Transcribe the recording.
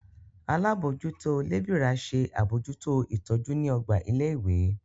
Alábòójútó lébìrà ṣe àbójútó ìtọ́jú ní ọgbà ilé ìwé